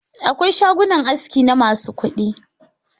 Akwai shagunan aski na masu kuɗi.